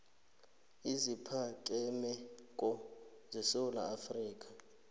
eziphakemeko esewula afrika